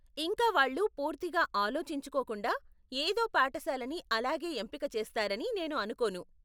ఇంకా వాళ్ళు పూర్తిగా ఆలోచించుకోకుండా ఏదో పాఠశాలని అలాగే ఎంపిక చేస్తారని నేను అనుకోను.